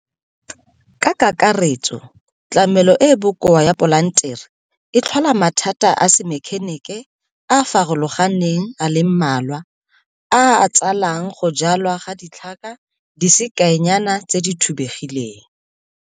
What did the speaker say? Ka kakaretso tlamelo e e bokoa ya polantere e tlhola mathata a semekhenike a a farologaneng a le mmalwa a a tsalang go jalwa ga ditlhaka di se kaenyana tse di thubegileng.